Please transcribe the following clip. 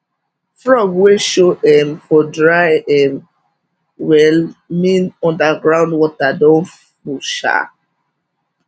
frog wey show um for dry um well mean underground water don full um